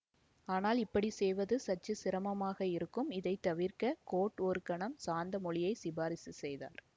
ஆனால் இப்படி செய்வது சற்று சிரமமாக இருக்கும் இதை தவிர்க்க கோட் ஒரு கணம் சார்ந்த மொழியை சிபாரிசு செய்தார்